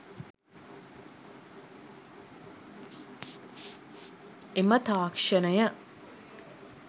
එම තාක්ෂණය